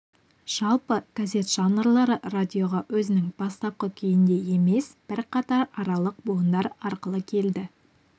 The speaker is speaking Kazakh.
жалпы газет жанрлары радиоға өзінің бастапқы күйінде емес бірқатар аралық буындар арқылы келді